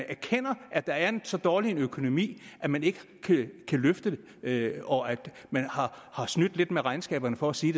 erkender at der er så dårlig en økonomi at man ikke kan løfte det og at man har snydt lidt med regnskaberne for at sige